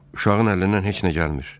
Uşağın əlindən heç nə gəlmir.